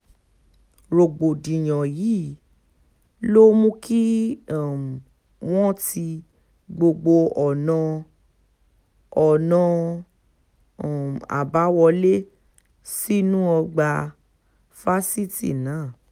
rògbòdìyàn yìí ló mú kí um wọ́n ti gbogbo ọ̀nà ọ̀nà um àbáwọlé sínú ọgbà fásitì náà